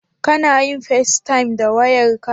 Kana yin festayam da wayarka?